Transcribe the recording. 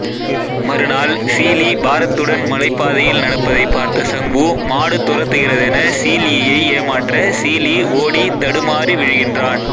மறுநாள் சீல்இ பாரத்துடன் மலைப்பாதையில் நடப்பதைப் பார்த்த சங்வூ மாடு துரத்துகிறதென சீல்இயை ஏமாற்ற சீல்இ ஓடித் தடுமாறி விழுகின்றான்